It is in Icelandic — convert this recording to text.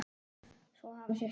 Svo hafa sést lömb.